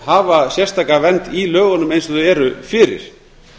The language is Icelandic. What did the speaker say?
hafa sérstaka vernd í lögunum eins og þau eru fyrir